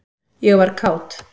ég var kát.